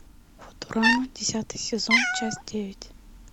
футурама десятый сезон часть девять